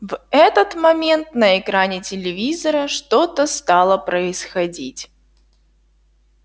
в этот момент на экране телевизора что-то стало происходить